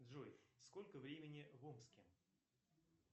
джой сколько времени в омске